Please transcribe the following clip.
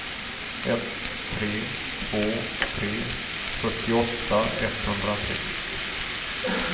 ett tre två tre fyrtioåtta etthundratre